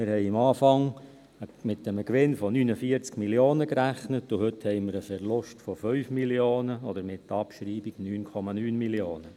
Wir haben am Anfang mit einem Gewinn von 49 Mio. Franken gerechnet, und heute haben wir einen Verlust von 5 Mio. Franken oder mit der Abschreibung 9,9 Mio. Franken.